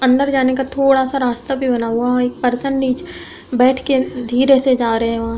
अन्दर जाने का थोड़ा सा रास्ता भी बना हुआ है। वहाँ एक पर्सन नीचे बैठ के धीरे से जा रहे हैं वहॉं।